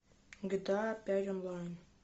гта пять онлайн